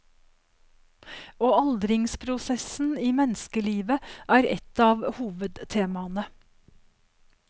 Og aldringsprosessen i menneskelivet er et av hovedtemaene.